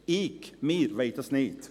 – Ich/wir wollen das nicht.